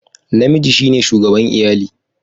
Namiji shi ne shugaban iyali.